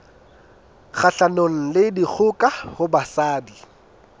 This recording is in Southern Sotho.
kgahlanong le dikgoka ho basadi